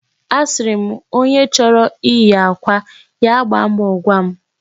Asịrị m, onye chọrọ iyi akwa, ya gbaa mbọ gwa m.